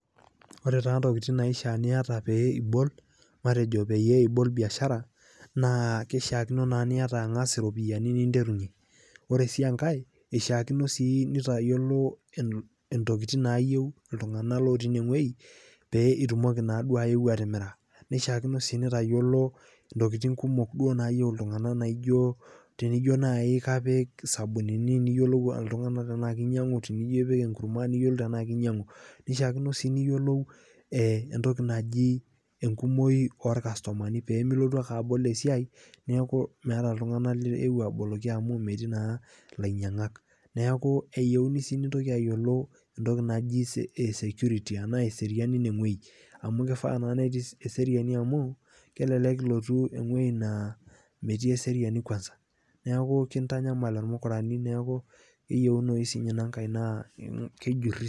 Ore taaa intokitin naishaa pieta matejo peeibol biashara naa keishaakino nieta ang'as iropiyiani ninterunye, ore sii enkae eishaakino sii nitayolo entokitin naayeu ltungana lotii ineweji pee itumoki naado aeu atimira, neishaaakuno sii nitayiolo ntokitin do kumok naayeu oltungana naijo tenijo naii kaapik isabunini niyolou ltunanak tenaa keinyang'u tenijo kapk ing'urrumwa niyiolou tenaa keinyang'u, eishaakuno sii niyiolou entoki najii enkumooi oolkastomani pimilotu ake abol esiaai neaku meata oltungana liewuo aboloki amuu metii naa lainyanng'ak, neaku eyeuni sii nintoki ayolo entoki naji esekuriti anaa eseriani eine weji, amu keifaa naa netii eseriani amuu kelelek ilotu eweji naa metii eseriani kwansa naaku kintanyamal irmukarani neaku eyeunoi sii ninye inankae naa kejuri,